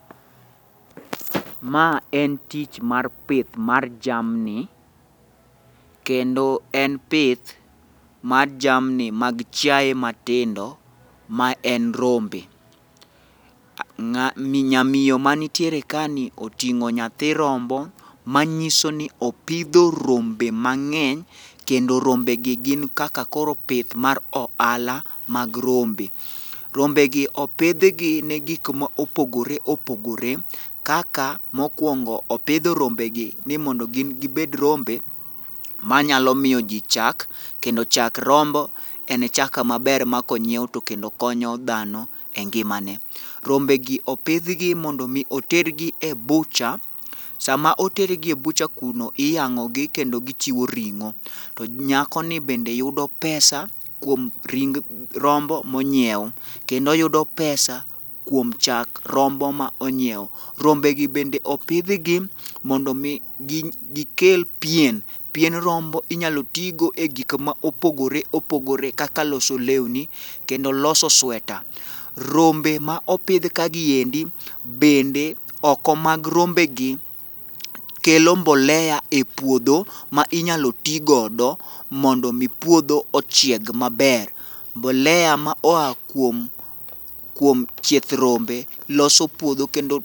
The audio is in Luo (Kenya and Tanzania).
Ma en tich mar pith mar jamni, kendo en pith mar jamni mag chiaye matindo ma en rombe. Nyamiyo manitiere kani oting'o nyathi rombo manyiso ni opidho rombe mang'eny, kendo rombegi gin kaka koro pith mar ohala mag rombe. Rombegi opidhgi ne gik ma opogore opogore kaka, mokwongo opidho rombegi ni mondo gin gibed rombe manyalo miyo ji chak, kendo chak rombo en chak maber ma konyiew to kendo konyo dhano e ngimane. Rombegi opidhgi mondo omi otergi e butcher, sama otergi e butcher kuno, iyang'ogi kendo gichiwo ring'o, to nyakoni bende yudo pesa kuom ring rombo monyiew, kendo oyudo pesa kuom chak rombo ma onyiew. Rombegi bende opidhgi mondo mi gikel pien, pien rombo inyalo ti go e gik ma opogore opogore kaka loso lewni, kendo loso sweta. Rombe ma opidh ka gi endi bende, oko mag rombegi, kelo mbolea e puodho ma inyalo ti godo mondo omi puodho ochieg maber. mbolea ma oa kuom chieth rombe loso puodho kendo.